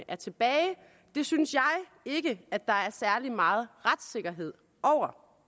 er tilbage det synes jeg ikke at der er særlig meget retssikkerhed over